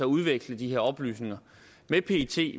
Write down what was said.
udveksle de her oplysninger med pet